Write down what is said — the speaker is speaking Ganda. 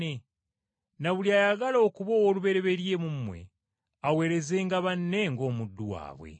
Na buli ayagala okuba omwami mu mmwe aweerezenga banne ng’omuddu waabwe.